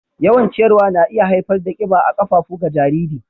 Yawan ciyarwa na iya haifar da kiba a ƙafafu ga jarirai.